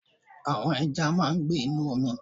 Àwon ẹja máa n gbé Inú omi